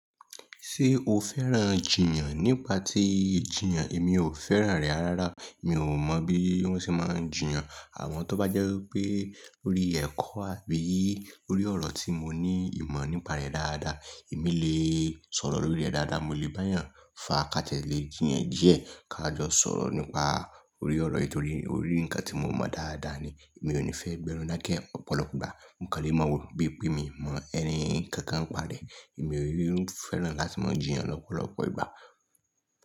Ṣé o fẹ́ràn jiyàn? Nípa tí jiyàn èmi ò fẹ́ràn rẹ̀ ara rárá. Mi ò mọ̀ bí wọ́n ṣe máa ń jiyàn. Àwọn tó bá jẹ́ wípé orí ẹ̀kọ́ àbí orí ọ̀rọ̀ tí mo ní ìmọ̀ nípa rẹ̀ dáadáa, èmi lè sọ̀rọ̀ lórí rẹ̀ dáadáa, mo lè bá yàn fákaàtẹ́lẹ̀, jìyàn díẹ̀. Ka jọ sọ̀rọ̀ nípa orí ọ̀rọ̀ yìí torí orí ǹkan tí mo mọ̀ dáadáa ni. Èmi ò ní fẹ́ gbẹ́nu dake ọ̀pọ̀lọpọ̀ ìgbà. Mo kálẹ̀ mọ́ wò pé bí mi mọ ẹnì kankan nípa rẹ̀, èmi yóò fẹ́ràn láti máa jiyàn lọ́pọ̀lọpọ̀ ìgbà.